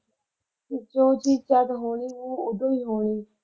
ਕਿਸੇ ਤੋਂ ਉਹ ਚੀਜ਼ ਸਟਾਟ ਹੋਣੀ ਐ ਉਦੋਂ ਈ ਹੋਣੀ।